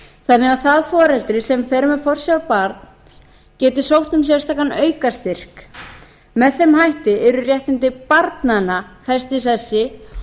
þannig að það foreldri sem fer með forsjá barns geti sótt um sérstakan aukastyrk með þeim hætti yrðu réttindi barnanna fest í sessi